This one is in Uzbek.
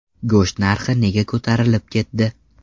Go‘sht narxi nega ko‘tarilib ketdi?